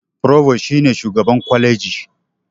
Furobas shi ne shugaban kwaleji.